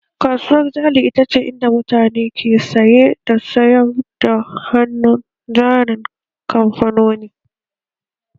Kasuwar jari ita ce inda mutane ke saye da sayar da hannun jarin kamfanoni